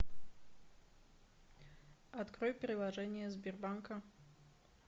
открой приложение сбербанка